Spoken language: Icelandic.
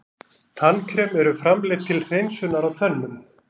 Tannkrem eru framleidd til hreinsunar á tönnum.